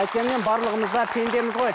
қайткенмен барлығымыз да пендеміз ғой